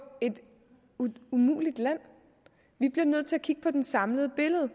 et umuligt land vi bliver nødt til at kigge på det samlede billede